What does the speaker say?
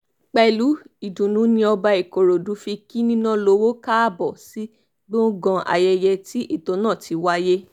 pẹ̀lú ìdùnnú ni ọba ìkòròdú fi kí nínàlọ́wọ́ káàbọ̀ sí gbọ̀ngàn ayẹyẹ tí ètò náà ti wáyé